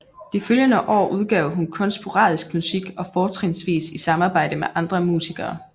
De følgende år udgav hun kun sporadisk musik og fortrinsvis i samarbejde med andre musikere